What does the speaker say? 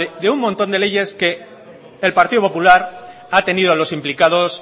de un montón de leyes que el partido popular ha tenido a los implicados